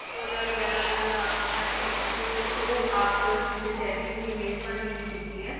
ਦੋ ਹਾਜ਼ਰ ਯਿਆਰਾਹ ਦੇ ਵਿਚ ਉਨ੍ਹਾਂ ਨੇ ਇਕ ਕੋਰਟ ਸ਼ਵ ਆਪ ਕਿ ਕਚੈਰੀ ਦੀ ਮੇਜ਼ਬਾਨੀ ਭੀ ਕੀਤੀ ਉਹ